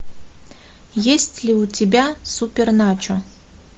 есть ли у тебя супер начо